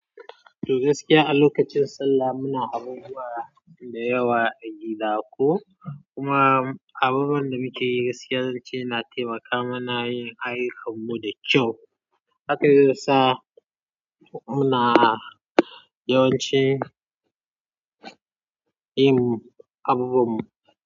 To gaskiya a lokacin sallah muna abubuwa da yawa a gida ko kuma abubuwan da muke yi gaskiya zan ce na taimaka mana yin ayyukanmu da kyau. Haka zai ya sa muna yawanci yin abubuwanmu.